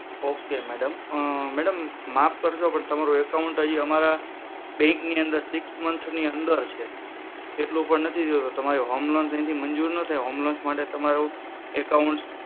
okay madam madam માફ કરજો પણ તમારું account હજી અમારા bank ની અંદર મંથ ની અંદર છે એટલું નથી થયું તમારે home loan અહીંથી મંજૂરી ના થાય હોમ લોન માટે તમારું account